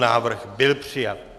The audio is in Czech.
Návrh byl přijat.